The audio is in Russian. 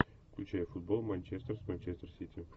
включай футбол манчестер с манчестер сити